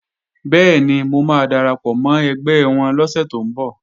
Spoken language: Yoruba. Bẹ́ẹ̀ni, mo máa darapọ̀ mọ́ ẹgbẹ́ wọn lọ́sẹ̀ tó ń bọ̀